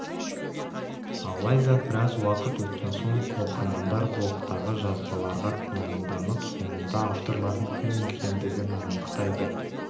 алайда біраз уақыт өткен соң оқырмандар блогтағы жазбаларға күмәнданып соңында авторлардың кім екендігін анықтайды